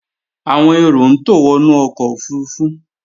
Àwọn èrò ń tò wọnú ọkọ̀ òfurufú